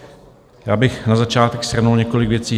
Já bych na začátek shrnul několik věcí.